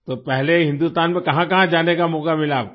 तो पहले हिंदुस्तान में कहांकहां जाने का मौका मिला आपको